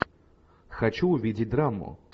хочу увидеть драму